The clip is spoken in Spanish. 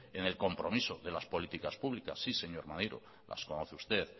en el compromiso de las políticas públicas sí señor maneiro las conoce usted